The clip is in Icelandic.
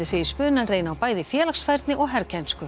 segir spunann reyna á bæði félagsfærni og herkænsku